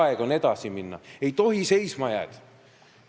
Aga aeg on edasi minna, ei tohi seisma jääda.